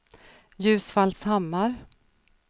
Ljusfallshammar